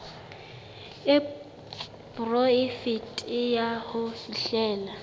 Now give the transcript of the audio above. e poraefete ya ho fihlella